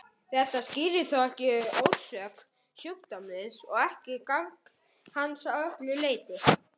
Þetta skýrir þó ekki orsök sjúkdómsins og ekki gang hans að öllu leyti.